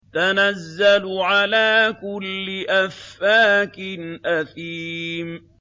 تَنَزَّلُ عَلَىٰ كُلِّ أَفَّاكٍ أَثِيمٍ